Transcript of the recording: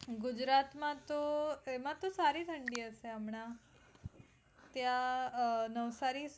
ગુજરાત માં તો એનાથી સારી ઠંડી હશે હમણાં ત્યાં નવસારી